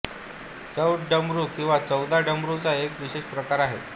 चौद डमरू किंवा चोदा डमरूचा एक विशेष प्रकार आहे